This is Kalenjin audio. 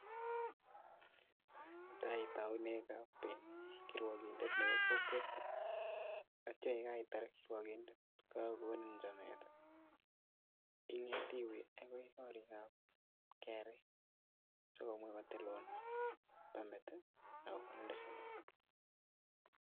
Netai itaunee kap en kirwoginde nepo kokwet atyo yekaitar kirwagindet yekagokonin njamet ing'et i'we akoi korik ap KRA sikomuch kotilun permit nepo lesenit.